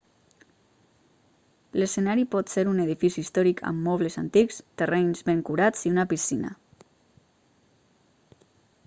l'escenari pot ser un edifici històric amb mobles antics terrenys ben curats i una piscina